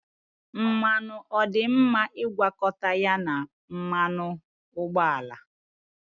Mmanụ ọ dị mma ịgwakọta ya na mmanụ ụgbọala?